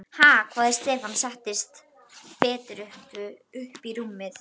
Ha?! hváði Stefán og settist betur upp í rúminu.